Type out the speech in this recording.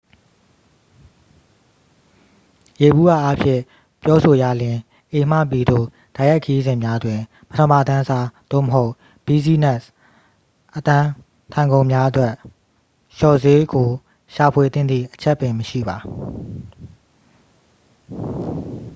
ယေဘုယျအားဖြင့် ပြောဆိုရလျှင် a မှ b သို့ တိုက်ရိုက်ခရီးစဉ်များတွင် ပထမတန်းစား သို့မဟုတ် ဘီးဇီးနက်စ် အတန်းထိုင်ခုံများအတွက် လျှော့ဈေးကို ရှာဖွေသင့်သည့် အချက်ပင်မရှိပါ